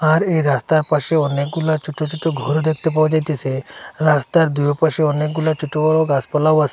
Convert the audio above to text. আর এই রাস্তার পাশে অনেকগুলা ছোট ছোট ঘর দেখতে পাওয়া যাইতেছে রাস্তার দুই পাশে অনেকগুলা ছোট বড় গাছপালাও আসে।